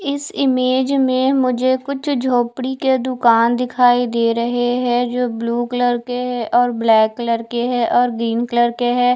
इस इमेज में मुझे कुछ जोपड़ी के दूकान दिखाई दे रहे है जो ब्लू कलर के है और ब्लैक कलर के है और ग्रीन कलर के है।